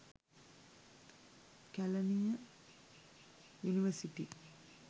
kelaniya university